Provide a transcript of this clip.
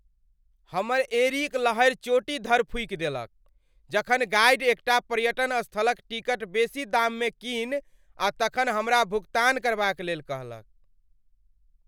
हमर एंड़ीक लहरि चोटी धरि फूकि देलक जखन गाइड एकटा पर्यटन स्थलक टिकट बेसी दाममे कीनि आ तखन हमरा भुगतान करबाक लेल कहलक।